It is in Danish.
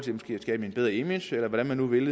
skabe et bedre image eller hvordan de nu vil